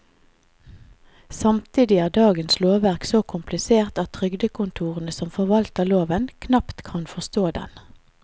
Samtidig er dagens lovverk så komplisert at trygdekontorene som forvalter loven, knapt kan forstå den.